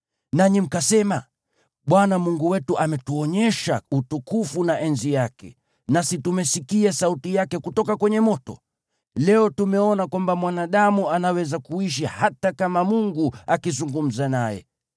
Nanyi mkasema, “ Bwana Mungu wetu ametuonyesha utukufu na enzi yake, nasi tumesikia sauti yake kutoka kwenye moto. Leo tumeona kwamba mwanadamu anaweza kuishi hata kama Mungu akizungumza naye.